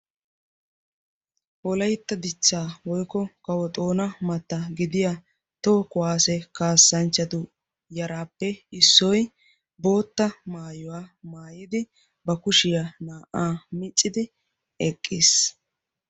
Wolaytta dichchaa woykko kawo xoona matta gidiyaa toho kuwaase kaassanchatu yaraappe issoy bootta maayuwaa maayidi ba kushiyaa naa"aa miccidi eqqis.